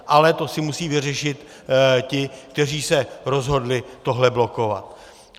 Ale to si musí vyřešit ti, kteří se rozhodli tohle blokovat.